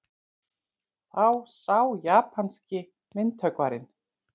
Þá sá japanski myndhöggvarinn